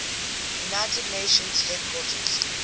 united nations headquarters